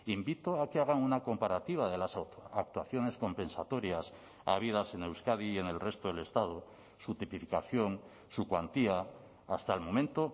invito a que hagan una comparativa de las actuaciones compensatorias habidas en euskadi y en el resto del estado su tipificación su cuantía hasta el momento